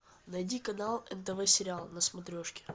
найди канал нтв сериал на смотрешке